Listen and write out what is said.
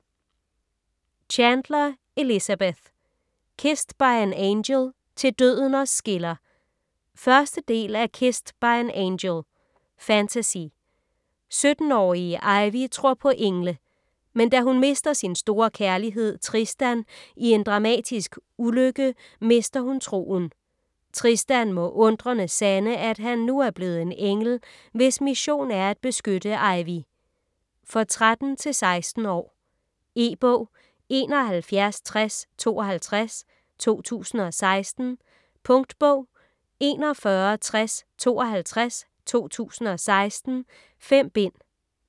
Chandler, Elizabeth: Kissed by an angel - til døden os skiller 1. del af Kissed by an angel. Fantasy. 17-årige Ivy tror på engle. Men da hun mister sin store kærlighed, Tristan i en dramatisk ulykke, mister hun troen. Tristan må undrende sande, at han nu er blevet en engel, hvis mission er at beskytte Ivy. For 13-16 år. E-bog 716052 2016. Punktbog 416052 2016. 5 bind.